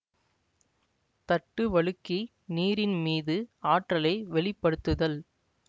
தட்டு வழுக்கி நீரின்மீது ஆற்றலை வெளிப்படுத்துதல்